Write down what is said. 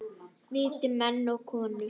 Og viti menn og konur.